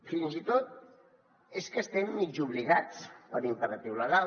fins i tot és que hi estem mig obligats per imperatiu legal